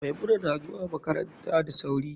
Maimuna nazuwa makaranta da sauri.